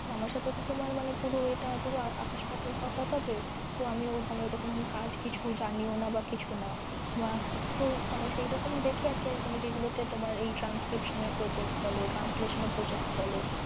তো আমার সাথে তো তোমার মানে পুরো এটা মানে পুরো আকাশ পাতাল তফাৎ হবে তো আমি ওরকম কাজ মানে কিছু জানি না বা কিছুনা না তো মানে সেইরকম দেখে আরকি যেগুলো তে তোমার এই transcription এর project বলো বা translation এর project বলো